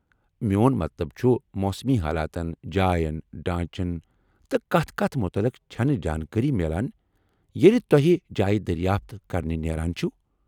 میٚون مطلب چُھ، موسمی حالاتن، جاین، ڈھانچن تہٕ كتھ كتھ مُتعلق چھنہٕ زانكٲری میلان ییلہِ توہہِ جایہ دریافت كرنہِ نیران چھِو ۔